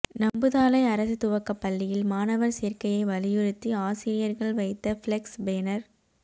நம்புதாளை அரசு துவக்கப்பள்ளியில் மாணவர் சேர்க்கையை வலியுறுத்தி ஆசிரியர்கள் வைத்த பிளக்ஸ் பேனர்